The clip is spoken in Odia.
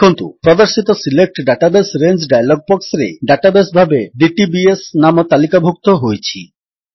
ଦେଖନ୍ତୁ ପ୍ରଦର୍ଶିତ ସିଲେକ୍ଟ ଡାଟାବେସ୍ ରଙ୍ଗେ ଡାୟଲଗ୍ ବକ୍ସରେ ଡାଟାବେସ୍ ଭାବରେ ଡିଟିବିଏସ୍ ନାମ ତାଲିକାଭୁକ୍ତ ହୋଇଛି